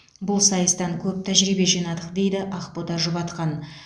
бұл сайыстан көп тәжірибе жинадық дейді ақбота жұбатқан